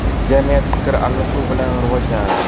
Jamiyat fikr almashuv bilan rivojlanadi.